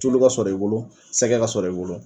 Tulu ka sɔrɔ sɔrɔ i bolo sɛgɛ ka sɔrɔ i bolo.